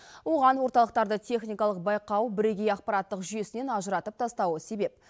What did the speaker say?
оған орталықтарды техникалық байқау бірегей ақпараттық жүйесінен ажыратып тастауы себеп